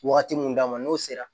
Wagati mun d'a ma n'o sera